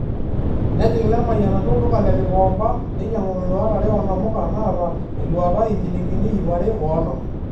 Nejiing Lemayian atua olduka le Gikomba neinyangu iluat are oonamuka naata eluata injilingini iip are oonom.